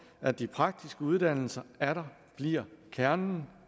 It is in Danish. at de praktiske uddannelser atter bliver kernen